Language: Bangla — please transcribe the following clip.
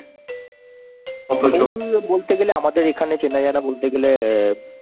বলতে গেলে আমাদের এখানে চেনা জানা বলতে গেলে অ্যাঁ